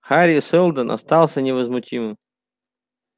хари сэлдон остался невозмутимым